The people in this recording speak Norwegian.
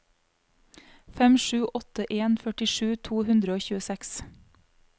fem sju åtte en førtisju to hundre og tjueseks